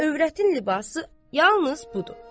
Övrətin libası yalnız budur.